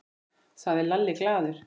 sagði Lalli glaður.